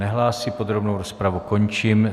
Nehlásí, podrobnou rozpravu končím.